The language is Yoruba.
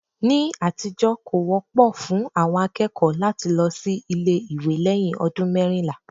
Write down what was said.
Ní àtijọ́, kò wọ́pọ̀ fún àwọn akẹ́kọ̀ọ́ láti lọ sí ilé ìwé lẹ́yìn ọdún mẹ́rìnlá